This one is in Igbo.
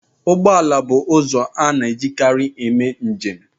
Ụgbọ ala bụ ụzọ a na-ejikarị eme njem